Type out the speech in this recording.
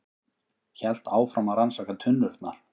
Hélt áfram að rannsaka tunnurnar.